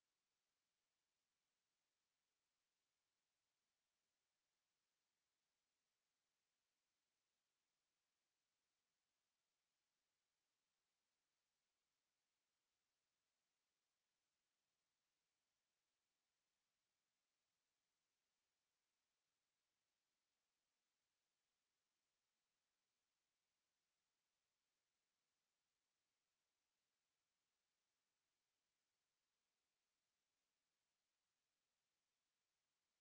to